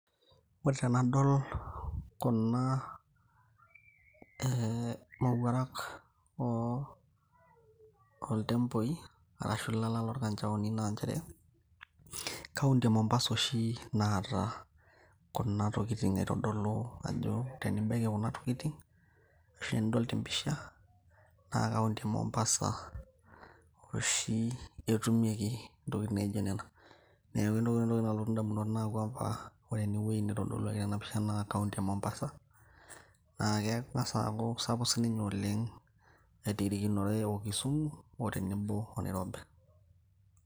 ore tenadol kuna eh, mowuarak oltemboi arashu ilala lorkanchaoni naa nchere kaunti e mombasa oshi naata kuna tokitin aitodolu ajo tenibaiki kuna tokitin ashu enidol tempisha naa kaunti e mombasa oshi etumieki intokitin naijo nena neeku entoki nalotu indamunot nakwampa ore enewueji nitodoluaki tena pisha naa kaunti e mombasa naa keng'as aaku kisapuk sininye oleng airirikinore o kisumu tenebo o nairobi.